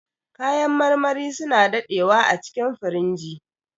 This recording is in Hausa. Kayan marmari suna daɗewa acikin firinji.